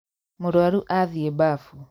Mũrwaru athiĩ mbafu